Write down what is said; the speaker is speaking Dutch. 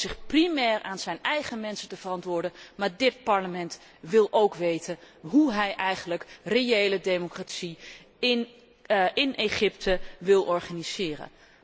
Hij hoort zich primair aan zijn eigen mensen te verantwoorden, maar dit Parlement wil ook weten hoe hij eigenlijk reële democratie in Egypte wil organiseren.